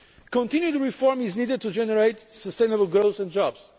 Continued reform is needed to generate sustainable growth and jobs.